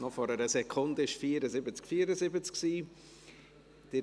Noch vor einer Sekunde war es 74 zu 74.